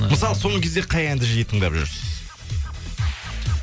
ыыы мысалы соңғы кезде қай әнді жиі тыңдап жүрсіз